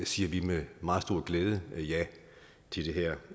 siger vi med meget stor glæde ja til det her